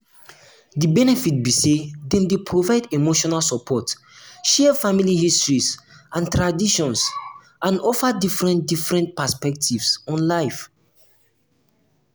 di benefit be say dem dey provide emotional support share family history and traditions and offer different different perspectives on life.